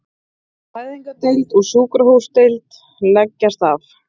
Fæðingardeild og sjúkradeild leggjast af